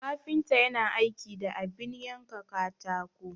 Kafinta yana aiki da abin yanka katako.